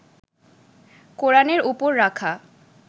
কোরানের ওপর রাখা